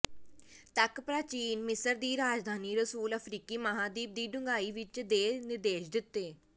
ਤੱਕ ਪ੍ਰਾਚੀਨ ਮਿਸਰ ਦੀ ਰਾਜਧਾਨੀ ਰਸੂਲ ਅਫਰੀਕੀ ਮਹਾਦੀਪ ਦੀ ਡੂੰਘਾਈ ਵਿੱਚ ਦੇ ਨਿਰਦੇਸ਼ ਦਿੱਤੇ